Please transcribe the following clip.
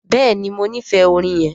Béèni mọ n'ifẹ orin yén.